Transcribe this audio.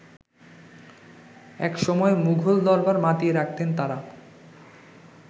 একসময় মুঘল দরবার মাতিয়ে রাখতেন তারা।